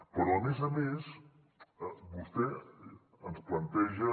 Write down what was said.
però a més a més vostè ens planteja